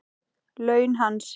Laun hans?